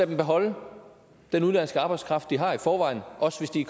dem beholde den udenlandske arbejdskraft de har i forvejen også hvis den